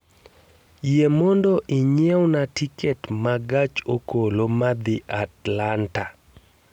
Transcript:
Yie mondo inyiewna tiket ma gach okolomadhi atlanta